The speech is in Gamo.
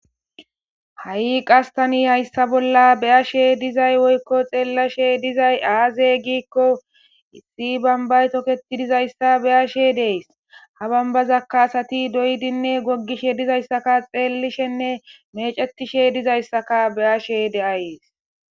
ha7i qastani hayssa bolla beyashe dizay woykko xeellashe dizay aaze giikko issi banbaytoketi dizayssa beyashe dees ha bambazakaasati doydinne goggishe dizayssaka xeelishenne mecetishe dizayssaka beyashe de7ayees